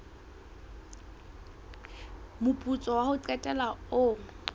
moputso wa ho qetela o